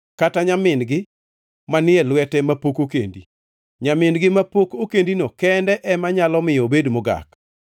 kata nyamin-gi manie lwete mapok okendi. Nyamin-gi mapok okendino kende ema nyalo miyo obed mogak.